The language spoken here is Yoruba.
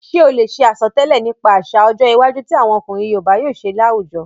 Ṣé o lè ṣe àsọtẹ́lẹ̀ nípa àsà ọjọ́ iwájú ti àwọn ọkùnrin yoòbá yóò ṣe láwùjọ?